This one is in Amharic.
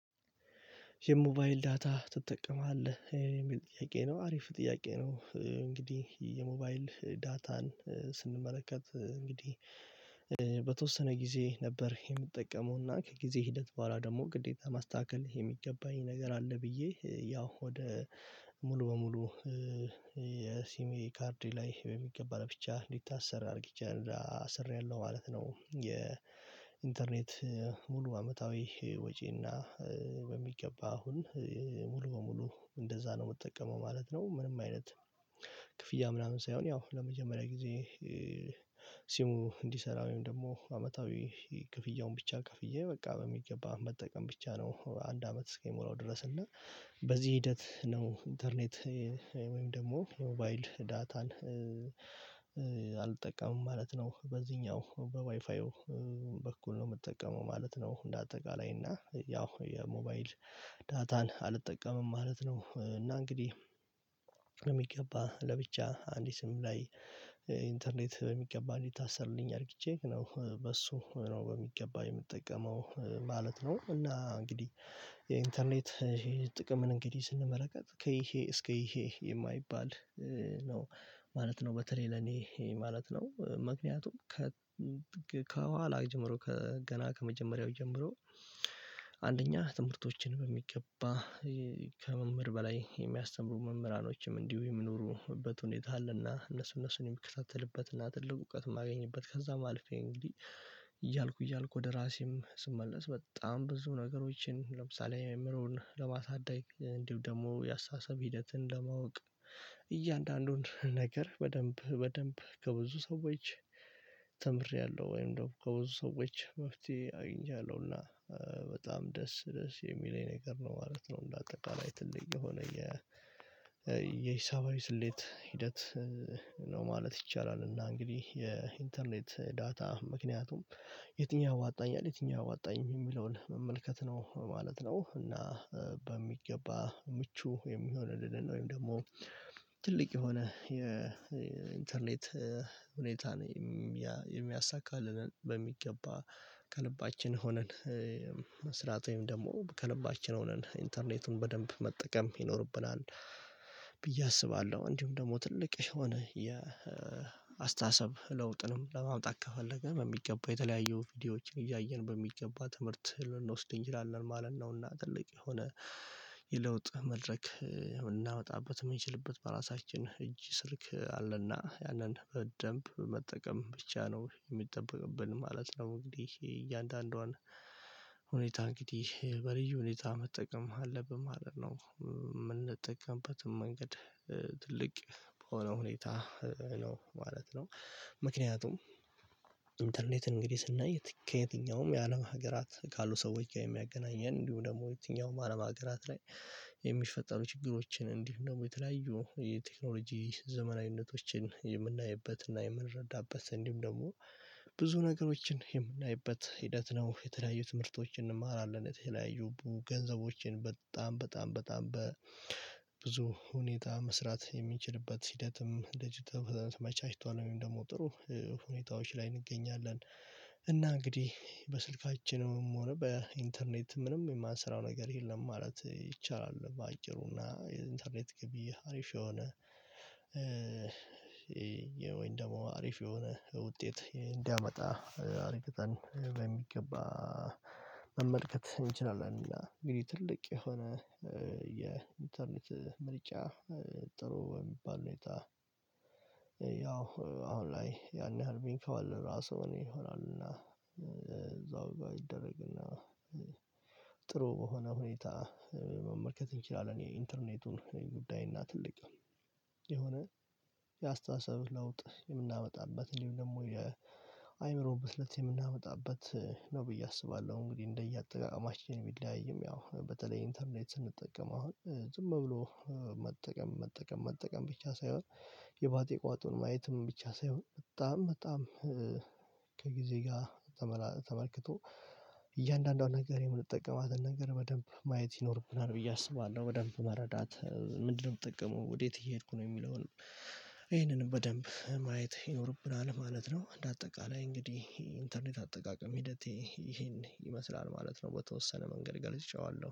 የሞባይል ዳታ ትጠቀማለህ የሚለ ጥያቄ ነው አሪፍ ጥያቄ ነው። እንግዲህ የሞባይል ዳታን ስንመለከት እንግዲህ። በተወሰነ ጊዜ ነበር የምጠቀመውና ከጊዜ ሂደት በኋላ ደግሞ ግዴታ ማስተካከል የሚገባኝ ነገር አለ ብዬ ያው ወደ ሙሉ በሙሉ የሲሜ ካርድ ላይ በሚገባ ብቻ ሊታሰር አድርጊቻለሁ አሰሪያለሁ ማለት ነው። የኢንተርኔት ሙሉ አመታዊ ወጪና በሚገባ አሁን ሙሉ በሙሉ እንደዛ ነው የምጠቀመው ማለት ነው። ምንም አይነት ክፍያ ምናምን ሳይሆን ያው ለመጀመሪያ ጊዜ ሲሙ እንዲሰራ ወይም ደግሞ አመታዊ ክፍያውን ብቻ ክፍዬ በቃ በሚገባ መጠቀም ብቻ ነው። አንድ አመት እስከሚሞላው ድረስ እና በዚህ ሂደት ነው ኢንተርኔት ወይም ደግሞ የሞባይል ዳታን አልጠቀምም ማለት ነው። በዚህኛው በዋይፋ በኩል ነው የምጠቀመው ማለት ነው። እንደ አጠቃላይ እና ያው የሞባይል ዳታን አልጠቀምም ማለት ነው። እና እንግዲህ ለሚገባ ለብቻ አንድ ሲም ላይ ኢንተርኔት በሚገባ እንዲታሰርልኝ አድርግቼ ነው በሱ ነው በሚገባ የምጠቀመው ማለት ነው። እና እንግዲህ የኢንተርኔት ጥቅምን እንግዲህ ስንመለከት ከይሄ እስከ ይሄ የማይባል ነው ማለት ነው። በተለይ ለኔ ማለት ነው ምክንያቱም ከ ከኋላ ጀምሮ ከገና ከመጀመሪያው ጀምሮ አንደኛ ትምህርቶችን በሚገባ ከመምህር በላይ የሚያስተምሩ መምህራኖችም እንዲሁ የሚኖሩበት ሁኔታ አለና እነሱ እነሱን የሚከታተልበትና ትልቅ እውቀት የማገኝበት ከዛም አልፌ እንግዲህ እያልኩ እያልኩ ወደ ራሴም ስመለስ በጣም ብዙ ነገሮችን ለምሳሌ የመምህሩን ለማሳደግ እንዲሁ ደግሞ የአስተሳሰብ ሂደትን ለማወቅ እያንዳንዱን ነገር በደንብ በደንብ ከብዙ ሰዎች ተምሬያለሁ ወይም ደግሞ ከብዙ ሰዎች መፍትሄ አግኝቻለሁና በጣም ደስ ደስ የሚለኝ ነገር ነው ማለት ነው። እንደ አጠቃላይ ትልቅ የሆነ የ የሂሳባዊ ስሌት ሂደት ነው ማለት ይቻላል። እና እንግዲህ የኢንተርኔት ዳታ ምክንያቱም የትኛው ያዋጣኛል የትኛው አያዋጣኝም የሚለውን መመልከት ነው ማለት ነው። እና በሚገባ ምቹ የሚሆን ድል ነው ወይም ደግሞ ትልቅ የሆነ የኢንተርኔት ሁኔታን የሚያሳካልንን በሚገባ ከልባችን ሆነን መስራት ወይም ደግሞ ከልባችን ሆነን ኢንተርኔቱን በደንብ መጠቀም ይኖርብናል። ብዬ አስባለሁ እንዲሁም ደግሞ ትልቅ የሆነ የአስተሳሰብ ለውጥንም ለማምጣት ከፈለግን በሚገባው የተለያየው ቪዲዮዎችን እያየን በሚገባ ትምህርት ልንወስድ እንችላለን ማለት ነውና። ጥልቅ የሆነ የለውጥ መድረክ እናወጣበት የምንችልበት በራሳችን እጅ ስልክ አለና ያንን በደንብ መጠቀም ብቻ ነው የሚጠበቅብን ማለት ነው። እንግዲህ እያንዳንዷን ሁኔታ እንግዲ በልዩ ሁኔታ መጠቀም አለብን ማለት ነው። የምንጠቀምበትም መንገድ ትልቅ በሆነ ሁኔታ ነው ማለት ነው። ምክንያቱም ኢንተርኔት እንግዲህ ስናይ ከየትኛውም የአለም ሀገራት ካሉ ሰዎቸ ጋር የሚያገናኘን እንዲሁ ደግሞ የትኛውም አለም ሀገራት ላይ የሚፈጠሩ ችግሮችን እንዲሁ ደግሞ የተለያዩ የቴክኖሎጂ ዘመናዊነቶችን የምናይበትና የምንረዳበት እንዲህም ደግሞ ብዙ ነገሮችን የምናይበት ሂደት ነው የተለያዩ ትምህርቶችን እንማራለን። የተለያዩ ገንዘቦችን በጣም በጣም በጣም በብዙ ሁኔታ መስራት የሚችልበት ሂደትም ተመመቻችቷል ወይም ደግሞ ጥሩ ሁኔታዎች ላይ እንገኛለን። እና እንግዲህ በስልካችንም ሆነ በኢንተርኔት ምንም የማንሰራው ነገር የለም ማለት ይቻላል። በአጭሩና የኢንተርኔት ግቢ አሪፍ የሆነ ወይን ደግሞ አሪፍ የሆነ የውጤት እንዲያመጣ አርግተን በሚገባ መመልከት እንችላለን። እና እንግዲህ ትልቅ የሆነ የኢንተርኔት ምርጫ ጥሩ በሚባል ሁኔታ ያው አሁን ላይ ያን ያህል አርቢንክ አለ ራሱ እኔ ይሆናል እና እዛው ጋር ይደረግና ጥሩ በሆነ ሁኔታ መመልከት እንችላለን። የኢንተርኔቱን ጉዳይና ትልቅ የሆነ የአስተሳሰብ ለውጥ የምናመጣበት እንዲሁም ደግሞ የአእምሮ ብስለት የምናመጣበት ነው ብዬ አስባለሁ። እንግዲህ እንደየአጠቃማችን ቢለያይም ያው በተለይ ኢንተርኔት ስንጠቀም አሁን ዝም ብሎ መጠቀም መጠቀም መጠቀም ብቻ ሳይሆን የባጤ ቋጡን ማየትም ብቻ ሳይሆን በጣም በጣም ከጊዜ ጋር ተመልክቶ እያንዳንዱን ነገር የምንጠቀማትን ነገር በደንብ ማየት ይኖርብናል ብዬ አስባለሁ። በደንብ መረዳት ምንድነው? የምጠቀመው ወዴት እየሄድኩ ነው የሚለውን ይሄንንም በደንብ ማየት ይኖርብናል ማለት ነው። እንደ አጠቃላይ እንግዲህ ኢንተርኔት አጠቃቀም ሂደቴ ይሄን ይመስላል ማለት ነው። በተወሰነ መንገድ ገልጬዋለሁ